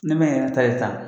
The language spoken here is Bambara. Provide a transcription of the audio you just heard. Ne ma n yɛrɛ ta ye ta